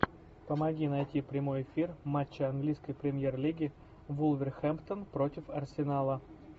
помоги найти прямой эфир матча английской премьер лиги вулверхэмптон против арсенала